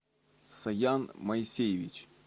саян моисеевич